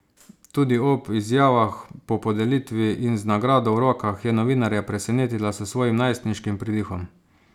Tudi ob izjavah po podelitvi in z nagrado v rokah je novinarje presenetila s svojim najstniškim pridihom.